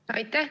Aitäh!